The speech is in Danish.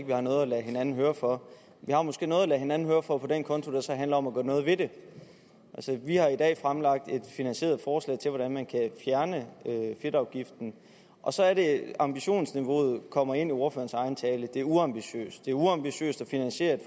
vi har noget at lade hinanden høre for vi har måske noget at lade hinanden høre for på den konto der så handler om at gøre noget ved det vi har i dag fremlagt et finansieret forslag til hvordan man kan fjerne fedtafgiften og så er det at ambitionsniveauet kommer ind i ordførerens egen tale det er uambitiøst det er uambitiøst at finansiere et